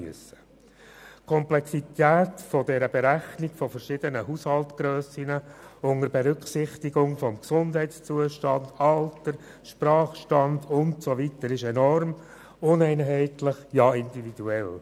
Die Komplexität der Berechnung von verschiedenen Haushaltgrössen unter Berücksichtigung von Gesundheitszustand, Alter, Sprachstand usw. ist enorm und uneinheitlich, ja individuell.